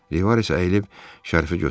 Rivaris əyilib şərfi götürdü.